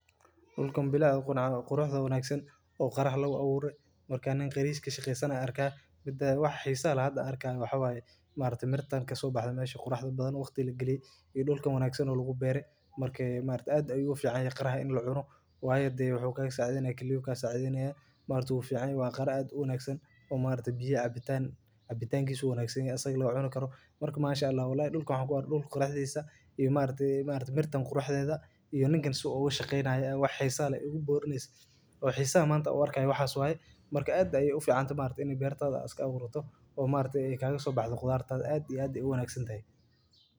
Dulkaan bilaa aqoon qurux wanagsan oo qarax lagu awuuri markaan qariis ka shaqeysana arka midii wax xiisa lahad arkan waxaay maartay mirtaanka soo baxda meeshii qurxda badan waqti la gali ee dhulka wanaagsan lagu beeray markii maarta aad uu fiican ee qarax in loo cuno waaya dayax ka saacadeen ee keliyowga ka saacadeena maarta ugu fiican waa qarax aad u wanaagsan oo maarta biyo cabitaangishii wanaagsan isaga la wa cuno karo. Marka maasha allah walahi dhulka waxa kuarke dhul qurxaysa iyo maarta maarta mirta qurxdayda iyo ninkan su'aan shaqeynaa wax xiisa ah igu boorneys oo xiiso mantood horka waxaas waa marka aad ay uu fiicaanta maarta inay beertaada aska awuraato. Oo maarta eekayga soo baxdo khudaarta aad iyo aad u wanaagsan tahay.